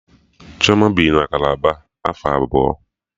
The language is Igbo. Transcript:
Chioma bi na Kalaba afọ abụọ